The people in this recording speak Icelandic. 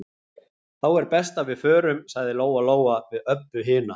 Þá er best að við förum, sagði Lóa-Lóa við Öbbu hina.